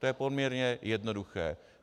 To je poměrně jednoduché.